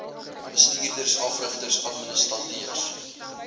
bestuurders afrigters administrateurs